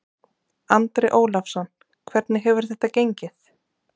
Andri Ólafsson: Hvernig hefur þetta gengið?